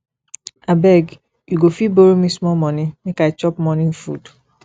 abeg you go fit borrow me small money make i chop morning food